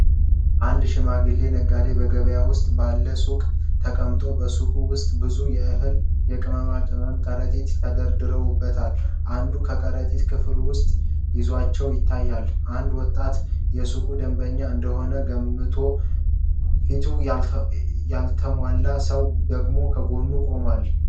አንድ ሽማግሌ ነጋዴ በገበያ ውስጥ ባለው ሱቅ ተቀምጧል። በሱቁ ውስጥ ብዙ የእህልና የቅመማ ቅመም ከረጢቶች ተደራርበዋል። አንዳንድ ከረጢቶች ክፍት ሆነው ይዘታቸው ይታያል። አንድ ወጣት የሱቁ ደንበኛ እንደሆነ ገምተን፣ ፊቱ ያልተሟላ ሰው ደግሞ ከጎኑ ይቆማሉ።